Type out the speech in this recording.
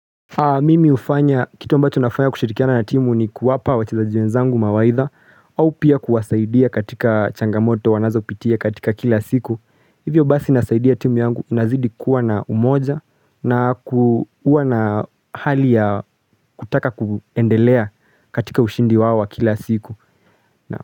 Mimi hufanya kitu ambacho nafanya kushirikiana na timu ni kuwapa wachezaji wenzangu mawaidha au pia kuwasaidia katika changamoto wanazo pitia katika kila siku hivyo basi nasaidia timu yangu inazidi kuwa na umoja na kuwa na hali ya kutaka kuendelea katika ushindi wao wa kila siku na.